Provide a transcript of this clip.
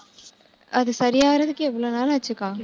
அது சரியாகறதுக்கு எவ்வளவு நாள் ஆச்சுக்கா